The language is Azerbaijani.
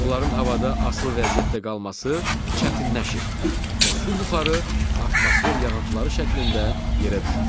Onların havada asılı vəziyyətdə qalması çətinləşir və su buxarı atmosfer yağıntıları şəklində yerə düşür.